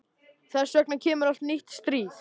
Þess vegna kemur alltaf nýtt stríð.